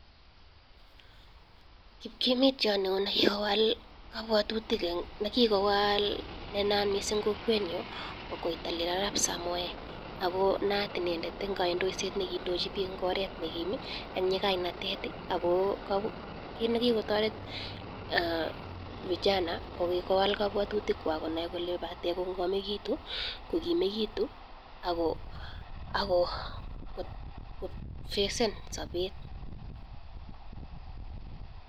Kipkimitiat nee naat missing eng kwokwet nyu ko koitalel arap ako naat inendet eng kaidoshe nee kiidochi bik eng oret ne kim ak nyikainatet ako kit ne kikotaret vijana ko kikowal kabwatutik kwak koneii kolee batee kongamekitu kongimekitu ak kofasene sapet